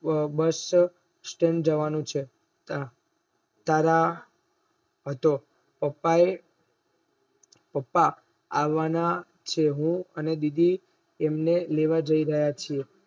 bus stand જવાનું છે તારા પપ્પા એ પપ્પા અવન છે અને બીજું એમને લેવા જી રહ્યા છે